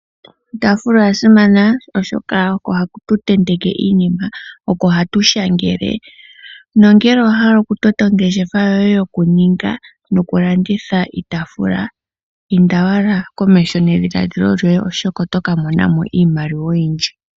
Iitafula oyasimana oshoka oko hatu tenteke iinima, oko hatu shangele nongele owahala okutota ongeshefa yoye yoku ninga noku landitha iitafula inda owala komeho nedhiladhilo lyoye oshoka otoka monamo iimaliwa oyindji.